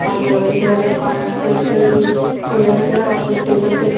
आज इधर काउंटर पे ये चेयर गया और टेबल पे--